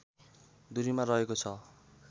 दुरीमा रहेको छ